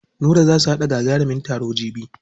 Nura za su haɗa gagarumin taro jibi.